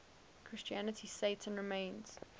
christianity satan remains